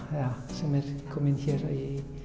sem er komin hér í